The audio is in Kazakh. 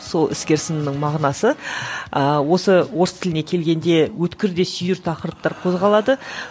сол іскер сынның мағынасы ыыы осы орыс тіліне келгенде өткір де сүйір тақырыптар қозғалады